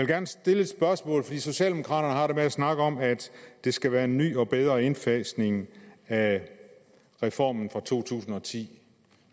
gerne stille et spørgsmål fordi socialdemokraterne har snakke om at det skal være en ny og bedre indfasning af reformen fra to tusind og ti